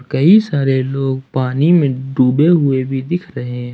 कई सारे लोग पानी में डूबे हुए भी दिख रहे हैं।